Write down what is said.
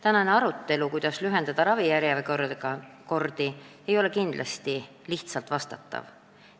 Tänase arutelu pealkirjas olev küsimus "Kuidas lühendada ravijärjekordi?" ei ole kindlasti lihtsalt vastatav.